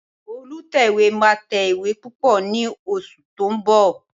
Olùtẹ̀wé máa tẹ ìwé púpọ̀ ní oṣù tó ń bọ̀